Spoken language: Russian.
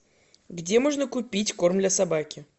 где можно купить корм для собаки